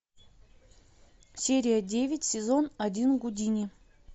серия девять сезон один гудини